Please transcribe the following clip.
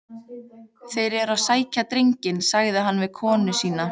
Þeir eru að sækja drenginn, sagði hann við konu sína.